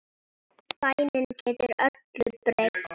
Bænin getur öllu breytt.